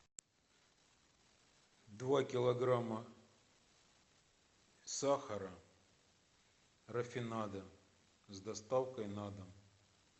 два килограмма сахара рафинада с доставкой на дом